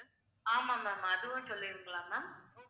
ஆமா ma'am அதுவும் சொல்லுவீங்களா ma'am